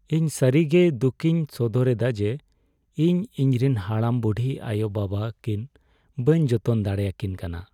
ᱤᱧ ᱥᱟᱹᱨᱤ ᱜᱮ ᱫᱩᱠᱤᱧ ᱥᱚᱫᱚᱨ ᱮᱫᱟ ᱡᱮ ᱤᱧ ᱤᱧᱨᱮᱱ ᱦᱟᱲᱟᱢᱼᱵᱩᱰᱷᱤ ᱟᱭᱳᱼᱵᱟᱵᱟ ᱠᱤᱱ ᱵᱟᱹᱧ ᱡᱚᱛᱚᱱ ᱫᱟᱲᱮᱭᱟᱠᱤᱱ ᱠᱟᱱᱟ ᱾